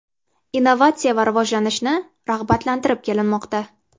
Innovatsiya va rivojlanishni rag‘batlantirib kelmoqda.